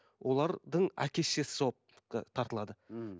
олардың әке шешесі жауапқа тартылады мхм